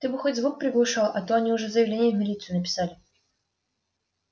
ты бы хоть звук приглушал а то они уже заявление в милицию написали